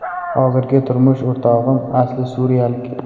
Hozirgi turmush o‘rtog‘im asli suriyalik.